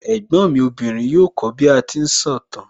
Ẹ̀gbọ́n mi obìnrin yóò kó bí a ti ń sọ ìtàn